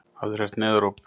Hafið þér heyrt neyðaróp?